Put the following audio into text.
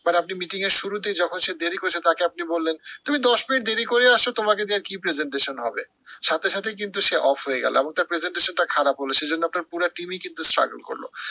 but আপনি meeting এর শুরুতেই যখন সে দেরি করছে তাকে আপনি বললেন, তুমি দশ মিনিট দেরি করে আসো তোমাকে নিয়ে আর কি presentation হবে? সাথেই সাথেই কিন্তু সে off হয়ে গেলো এবং তার presentation টা খারাপ হলো সে জন্য আপনার পুরা team ই কিন্তু struggle করলো